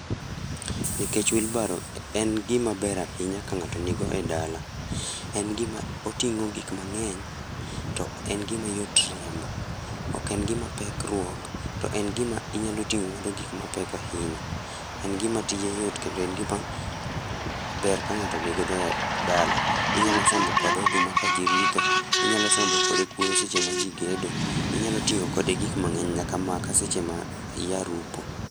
Nikech wilbaro en gima ber ahinya ka ng'ato nigo e dala. En gima oting'o gik mang'eny, to en gima yot riembo. Ok en gima pek ruok, to en gima inyalo ting'o godo gik mapek ahinya. En gima tije yot kendo en gima ber ka ng'ato nigodo e dala. Inyalo sombo kode oduma ka jii ritho, inyalo sombo kode kuoyo seche ma jii gedo, inyalo ting'o kode gik mang'eny nyaka makaa seche ma iyarupo